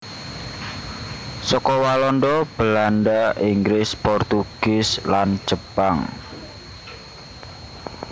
Saka walanda Belanda inggris portugie lan jepang